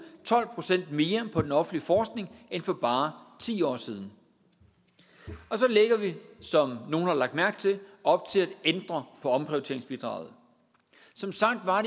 tolv procent mere på den offentlige forskning end for bare ti år siden og så lægger vi som nogle har lagt mærke til op til at ændre på omprioriteringsbidraget som sagt var